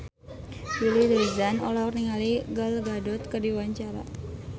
Willy Dozan olohok ningali Gal Gadot keur diwawancara